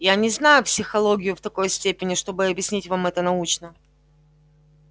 я не знаю психологию в такой степени чтобы объяснить вам это научно